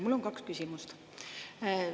Mul on kaks küsimust.